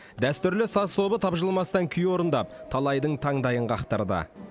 дәстүрлі саз тобы тапжылмастан күй орындап талайдың таңдайын қақтырды